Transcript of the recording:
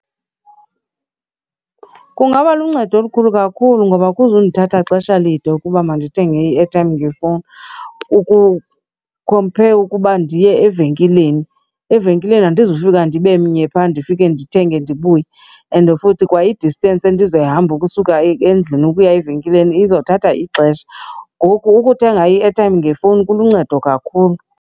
Kungaba luncedo olukhulu kakhulu ngoba akuzundithatha xesha lide ukuba mandithenge i-airtime ngefowuni compare ukuba ndiye evenkileni. Evenkileni andizufika ndibe mnye phaa ndifike ndithenge ndibuye and futhi kwa i-distance endizoyihamba ukusuka endlini ukuya evenkileni izothatha ixesha. Ngoku ukuthenga i-airtime ngefowuni kuluncedo kakhulu.